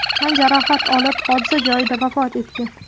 tan jarohati olib, hodisa joyda vafot etgan.